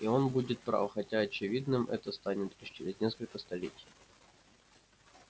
и он будет прав хотя очевидным это станет лишь через несколько столетий